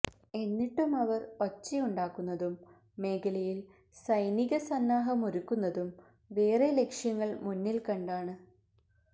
എന്നിട്ടും അവര് ഒച്ചയുണ്ടാക്കുന്നതും മേഖലയില് സൈനിക സന്നാഹമൊരുക്കുന്നതും വേറെ ലക്ഷ്യങ്ങള് മുന്നില് കണ്ടാണ്